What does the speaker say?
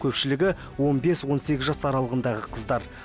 көпшілігі он бес он сегіз жас аралығындағы қыздар